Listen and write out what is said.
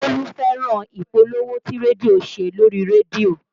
Bólú fẹ́ràn ìpolówó tí rédíò ṣe lórí rédíò